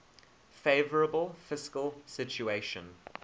favourable fiscal situation